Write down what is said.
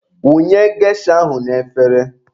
Wụnye gesha ahụ n'efere